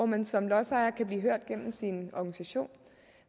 man som lodsejer blive hørt gennem sin organisation